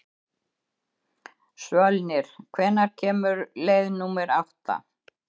Svölnir, hvenær kemur leið númer átta?